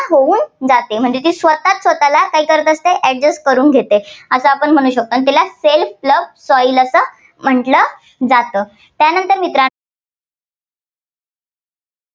जाते. म्हणजे ती स्वतःच स्वतःला adjust करून घेते, असं आपण म्हणू शकतो. म्हणून तिला self plough soil असं म्हटलं जातं. त्यानंतर मित्रांनो